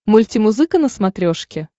мультимузыка на смотрешке